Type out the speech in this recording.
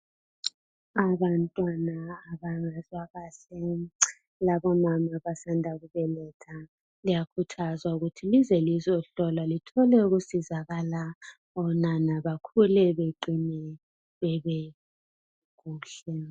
abantwana abangezwakahle labo mama abasanda kubeletha liyakhuthazwa ukuthi lize lizohlolwa lithle ukusizakala onana bakhule beqinile kuhle